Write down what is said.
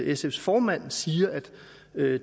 sfs formand siger at